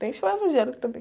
Tem show evangélico também.